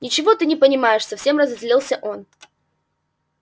ничего ты не понимаешь совсем разозлился он